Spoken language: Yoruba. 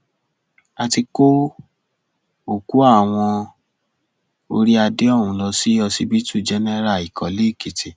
a ti kó òkú àwọn orí adé ọhún lọ sí ọsibítù jẹnẹra ìkọléèkìtì